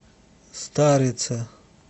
старице